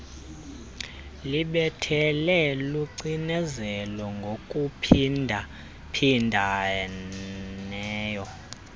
lubethelele lucinezele ngokuphindaphindeneyo